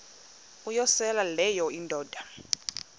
uyosele leyo indoda